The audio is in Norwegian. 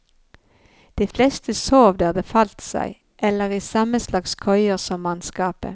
De fleste sov der det falt seg, eller i samme slags køyer som mannskapet.